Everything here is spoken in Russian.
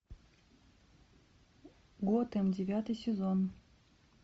готэм девятый сезон